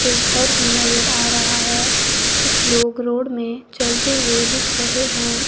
एक घर भी नजर आ रहा है कुछ लोग रोड में चलते हुए दिख रहे हैं।